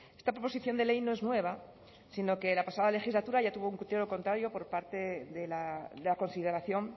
esta proposición de ley no es nueva sino que la pasada legislatura ya tuvo un criterio contrario por parte de la consideración